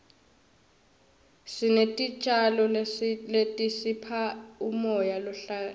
sinetitjalo letisipha umoya lohlantekile